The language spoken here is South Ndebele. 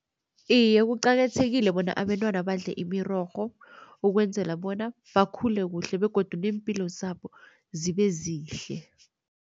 Iye kuqakathekile bona abentwana badle imirorho, ukwenzela bona bakhule kuhle begodu neempilo zabo zibe zihle.